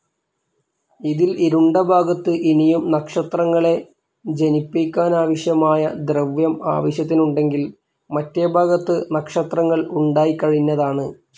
ഇതിൽ ഇരുണ്ട ഭാഗത്ത് ഇനിയും നക്ഷത്രങ്ങളെ ജനിപ്പിയ്ക്കാനാവശ്യമായ ദ്രവ്യം ആവശ്യത്തിനുണ്ടെങ്കിൽ മറ്റേ ഭാഗത്ത് നക്ഷത്രങ്ങൾ ഉണ്ടായിക്കഴിഞ്ഞതാണ്.